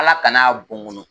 Ala kana a bɔ n kɔnɔ